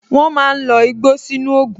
Wọn máa ń lo igbó sínú ògùn